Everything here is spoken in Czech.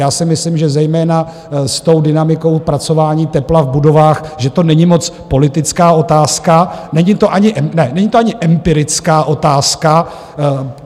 Já si myslím, že zejména s tou dynamikou pracování tepla v budovách, že to není moc politická otázka, není to ani empirická otázka.